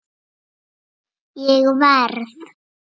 Ég verð!